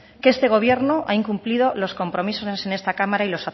que este gobierno ha incumplido los compromisos en esta cámara